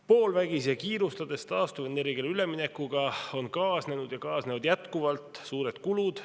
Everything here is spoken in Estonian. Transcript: Poolvägisi ja kiirustades taastuvenergiale üleminekuga on kaasnenud ja kaasnevad jätkuvalt suured kulud.